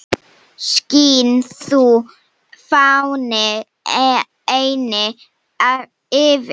Skín þú, fáni, eynni yfir